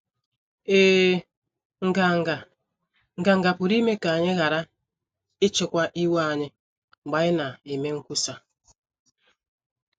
Ee, nganga, nganga pụrụ ime ka anyị ghara ịchịkwa iwe anyị mgbe anyị na - eme nkwusa.